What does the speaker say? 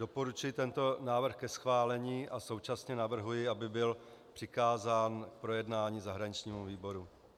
Doporučuji tento návrh ke schválení a současně navrhuji, aby byl přikázán k projednání zahraničnímu výboru.